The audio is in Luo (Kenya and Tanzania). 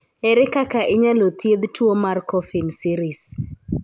Ere kaka inyalo thiedh tuwo mar Coffin Siris?